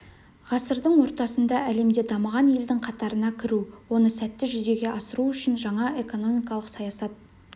ғасырдың ортасында әлемде дамыған елдің қатарына кіру оны сәтті жүзеге асыру үшін жаңа экономикалық саясат